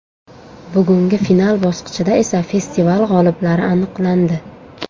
Bugungi final bosqichida esa festival g‘oliblari aniqlandi.